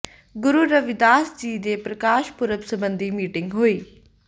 ਗੁਰੂ ਰਵਿਦਾਸ ਜੀ ਦੇ ਪ੍ਰਕਾਸ਼ ਪੁਰਬ ਸਬੰਧੀ ਮੀਟਿੰਗ ਹੋਈ